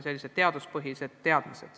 See on see mõte.